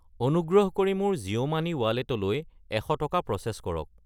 অনুগ্ৰহ কৰি মোৰ জিঅ' মানি ৰ ৱালেটলৈ 100 টকা প্ৰ'চেছ কৰক।